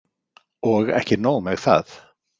Og ekki nóg með það.